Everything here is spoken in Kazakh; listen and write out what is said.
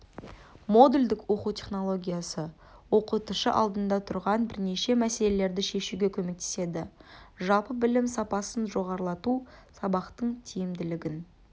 модульдік оқыту технологиясы оқытушы алдында тұрған бірнеше мәселелерді шешуге көмектеседі жалпы білім сапасын жоғарылату сабақтың тиімділігін